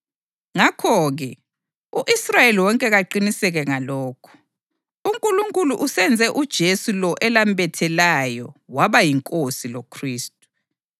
Ngakho-ke, u-Israyeli wonke kaqiniseke ngalokhu: uNkulunkulu usenze uJesu lo elambethelayo waba yiNkosi loKhristu.”